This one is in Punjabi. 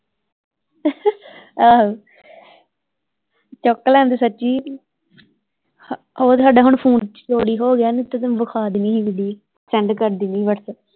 ਆਹੋ ਚੁੱਕ ਲੈਂਦੇ ਸੱਚੀ ਉਹ ਤੇ ਹੁਣ ਸਾਡੀ ਫੋਨ ਚੋਰੀ ਹੋਗਿਆ ਨਹੀਂ ਤੇ ਤੈਨੂੰ ਵਿਖਾ ਦੇਣੀ ਹੀ ਵੀਡੀਓ ਸੈਂਡ ਕਰਦੇਣ ਹੀ ਵਟਸਐਪ ਤੇ।